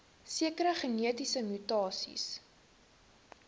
sekere genetiese mutasies